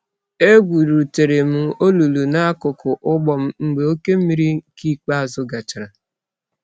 Egwurutere m olulu n'akụkụ ugbo m mgbe oke mmiri nke ikpeazụ gachara.